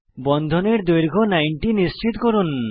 বন্ধনের দৈর্ঘ্য 90 নিশ্চিত করুন